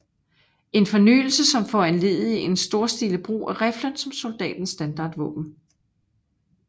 En fornyelse som foranledigede en storstilet brug af riflen som soldatens standardvåben